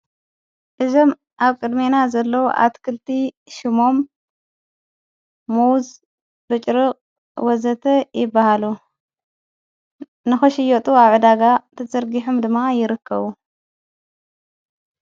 እዘም ኣብ ቅድሜና ዘለዉ ኣትክልቲ ሹሞም ሞዉዝ ርጭርቕ ወዘተ ይበሃሉ ንኸሽዮጡ ኣዕዳጋ ተዘርጊኁም ድማ ይርከቡ።